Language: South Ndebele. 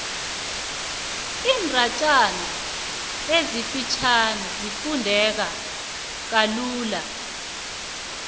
iindatjana ezifitjhani zifundeka lula